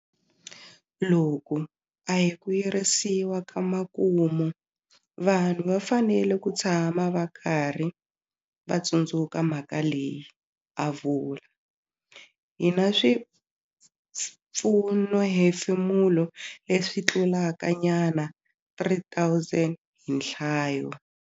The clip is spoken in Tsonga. Loku a hi ku yirisiwa ka makumu, vanhu va fanele ku tshama va karhi va tsundzuka mhaka leyi, a vula. Hi na swipfunohefemulo leswi tlulakanyana 3 000 hi nhlayo.